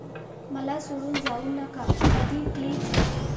मला सोडून जाऊ नका कधी प्लीज!